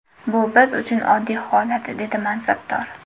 Bu biz uchun oddiy holat”, dedi mansabdor.